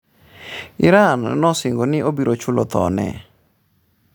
“Iran nosingo ni obiro “chulo” thone.”